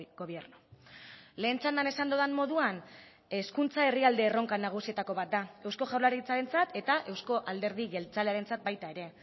gobierno lehen txandan esan dudan moduan hezkuntza herrialde erronka nagusietako bat da eusko jaurlaritzarentzat eta baita euzko alderdi jeltzalearentzat ere